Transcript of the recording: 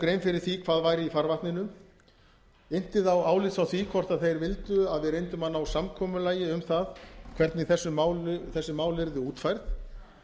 grein fyrir því hvað væri í farvatninu innti þá álits á því hvort þeir vildu að við reyndum að ná samkomulagi um það hvernig þessi mál yrðu útfærð